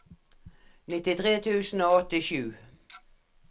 nittitre tusen og åttisju